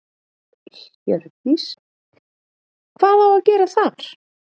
Hjördís: Hvað á að gera þar?